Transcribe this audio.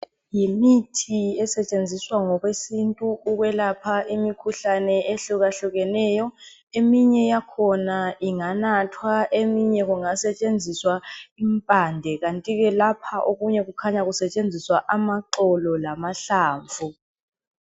Yimithi esetshenziswa ngokwesintu ukwelapha imikhuhlane ehluka hlukeneyo eminye yakhona inganathwa eminye kungasetshenziswa impande kanti ke lapha okunye kukhanya kusetshenziswa amaxolo lamahlamvu.